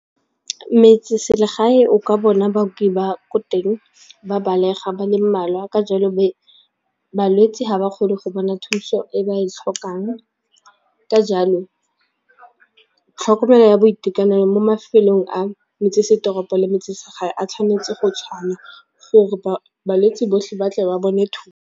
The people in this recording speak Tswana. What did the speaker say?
Metseselegae o ka bona baoki ba ko teng ba belega ba le mmalwa ka jalo balwetsi ga ba kgone go bona thuso e ba e tlhokang ka jalo tlhokomelo ya boitekanelo mo mafelong a metsesetoropo le metsi-segae a tshwanetse go tshwana gore balwetsi botlhe ba tle ba bone .